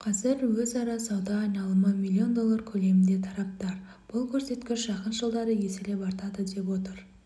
қазір өзара сауда айналымы миллион доллар көлемінде тараптар бұл көрсеткіш жақын жылдары еселеп артады деп отыр